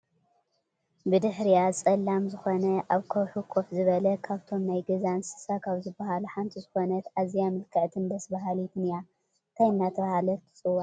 ብድሕሪኣ ፀላም ዝኮነ ኣብ ከውሒ ከፍ ዝበለት ካብቶም ናይ ገዛ እንስሳ ካብ ዝብሃሉ ሓንቲ ዝኮነት ኣዝያ ምልክዕትን ደስ ብሃሊት እያ። እንታይ እናተባህለት ትፅዋዕ?